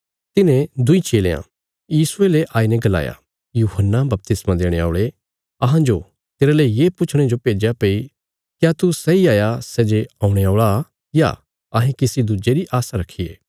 तिन्हें दुईं चेलयां यीशुये ले आईने गलाया यूहन्ना बपतिस्मा देणे औल़े अहांजो तेरले ये पुछणे जो भेज्या भई क्या तू सैई हाया सै जे औणे औल़ा या अहें किसी दुज्जे री आशा रखिये